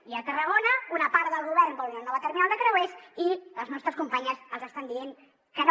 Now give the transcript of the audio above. i a tarragona una part del govern vol una nova terminal de creuers i les nostres companyes els estan dient que no